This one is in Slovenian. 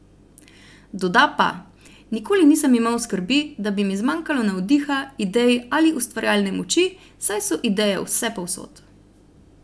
Doda pa: "Nikoli nisem imel skrbi, da bi mi zmanjkalo navdiha, idej ali ustvarjalne moči, saj so ideje vsepovsod.